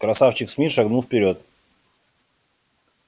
красавчик смит шагнул вперёд